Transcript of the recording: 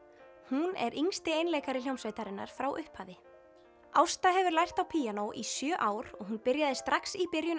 hún er yngsti einleikari hljómsveitarinnar frá upphafi Ásta hefur lært á píanó í sjö ár og hún byrjaði að strax í byrjun